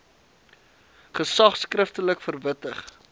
gesag skriftelik verwittig